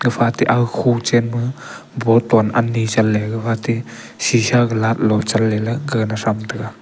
gapha te aga kho chenma boton ani chanley kuwatey shisha glat lo chan laley gagana thram taiga.